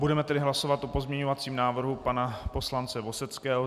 Budeme tedy hlasovat o pozměňovacím návrhu pana poslance Vozdeckého.